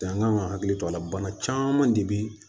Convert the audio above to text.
Jan ka kan hakili to a la bana caman de bɛ